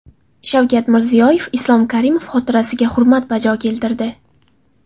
Shavkat Mirziyoyev Islom Karimov xotirasiga hurmat bajo keltirdi.